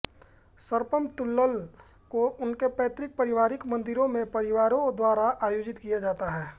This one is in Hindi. सर्पम तुल्लल् को उनके पैतृक पारिवारिक मंदिरों में परिवारों द्वारा आयोजित किया जाता है